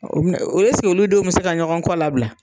O bi na esige olu denw bi se ka ɲɔgɔn kɔ labila